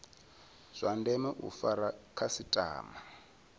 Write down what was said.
zwa ndeme u fara khasitama